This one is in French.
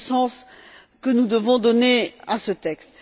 C'est le sens que nous devons donner à ce texte.